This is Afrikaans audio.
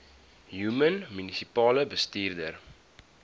human munisipale bestuurder